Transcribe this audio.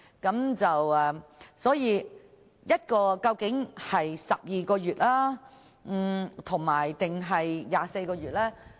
檢控期限究竟應該是12個月，還是24個月呢？